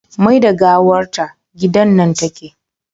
Mai da gawar ta gida nan take